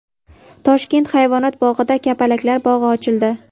Toshkent hayvonot bog‘ida kapalaklar bog‘i ochildi .